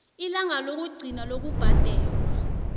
ilanga lokugcina lokubhadelwa